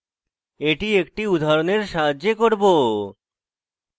এটি একটি উদাহরণের সাহায্যে করব